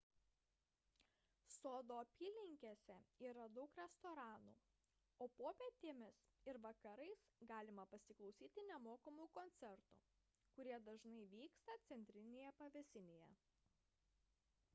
sodo apylinkėse yra daug restoranų o popietėmis ir vakarais galima pasiklausyti nemokamų koncertų kurie dažnai vyksta centrinėje pavėsinėje